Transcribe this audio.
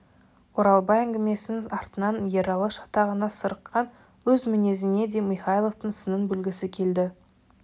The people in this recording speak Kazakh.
оралбай әңгімесінің артынан ералы шатағына сарыққан өз мінезіне де михайловтың сынын білгісі келді